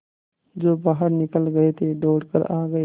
जो बाहर निकल गये थे दौड़ कर आ गये